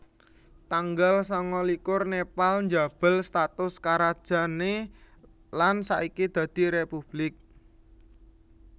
Tanggal sangalikur Nepal njabel status karajané lan saiki dadi républik